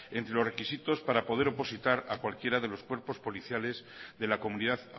entre los requisitos para poder opositar a cualquiera de los cuerpos policiales de la comunidad